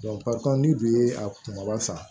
ni bi ye a kunbaba san